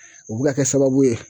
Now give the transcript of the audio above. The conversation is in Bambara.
O bɛ ka kɛ sababu ye.